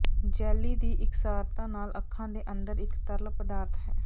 jelly ਦੀ ਇਕਸਾਰਤਾ ਨਾਲ ਅੱਖਾਂ ਦੇ ਅੰਦਰ ਇਕ ਤਰਲ ਪਦਾਰਥ ਹੈ